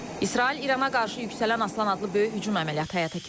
İsrail İrana qarşı yüksələn Aslan adlı böyük hücum əməliyyatı həyata keçirib.